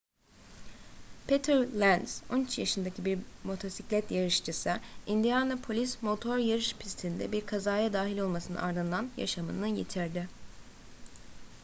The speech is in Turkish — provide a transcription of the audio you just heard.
peter lenz 13 yaşındaki bir motosiklet yarışçısı indianapolis motor yarış pisti'nde bir kazaya dahil olmasının ardından yaşamını yitirdi